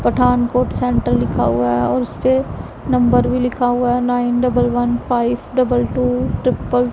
Pathan coat centre लिखा हुआ है और उस पे नंबर भी लिखा हुआ है nine double one five double two triple --